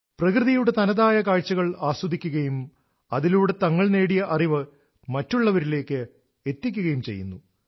പ്രകൃതിയുടെ തനതായ കാഴ്ചകൾ ആസ്വദിക്കുകയും അതിലൂടെ തങ്ങൾ നേടിയ അറിവ് മറ്റുള്ളവരിലേക്ക് എത്തിക്കുകയും ചെയ്യുന്നു